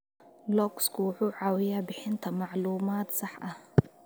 Logs-ku wuxuu caawiyaa bixinta macluumaad sax ah.